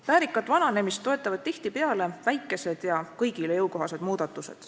Väärikat vananemist toetavad tihtipeale väikesed ja kõigile jõukohased muudatused.